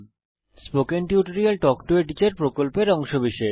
spoken tutorial talk to a teacher প্রকল্পের অংশবিশেষ